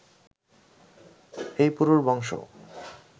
এই পুরুর বংশ